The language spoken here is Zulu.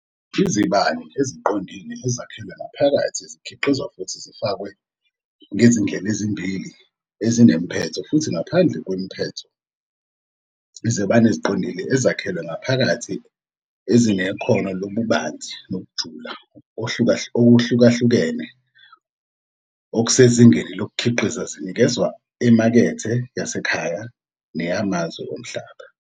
Izibani eziqondile ezakhelwe ngaphakathi zikhiqizwa futhi zifakwe ngezindlela ezimbili ezinemiphetho futhi ngaphandle kwemiphetho, izibani eziqondile ezakhelwe ngaphakathi ezinekhono lobubanzi nokujula okuhlukahlukene okusezingeni lokukhiqiza zinikezwa emakethe yasekhaya neyamazwe omhlaba.